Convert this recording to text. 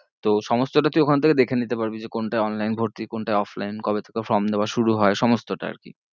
তো সমস্তটা তুই ওখান থেকে দেখে নিতে পারবি যে কোনটা online ভর্তি কোনটা offline কবে থেকে form দেওয়া শুরু হয়ে সমস্তটা আরকি